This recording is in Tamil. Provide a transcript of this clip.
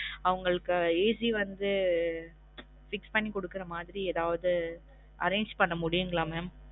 அவுங்களுக்கு AC உ வந்து fix பண்ணி குடுக்குற மாறி எதாவுது arrange பண்ண முடியுங்களா mam?